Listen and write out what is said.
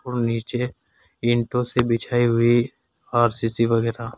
और नीचे ईंटों से बिछाई हुई आर_सी_सी वगैरह।